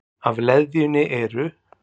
Af leðjunni eru